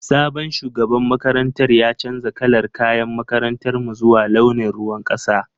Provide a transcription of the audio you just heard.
Sabon shugaban makarantar ya canza kalar kayan makarantar mu zuwa launin ruwan kasa.